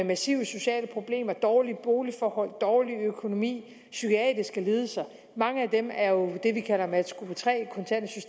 massive sociale problemer dårlige boligforhold dårlig økonomi psykiske lidelser mange af dem er jo det vi kalder matchgruppe tre